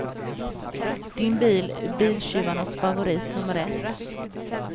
Din bil är biltjuvarnas favorit nummer ett.